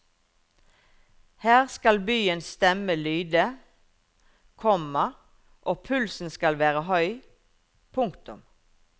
Her skal byens stemme lyde, komma og pulsen skal være høy. punktum